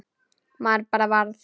Maður bara varð